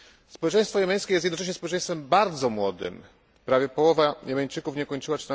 Społeczeństwo jemeńskie jest jednocześnie społeczeństwem bardzo młodym, prawie połowa Jemeńczyków nie ukończyła